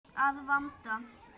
Að vanda.